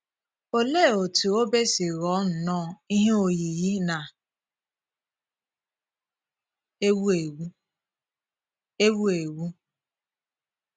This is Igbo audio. Òlee otú obe si ghọọ nnọọ ihe oyiyi na - ewụ̀ ewù? ewụ̀ ewù?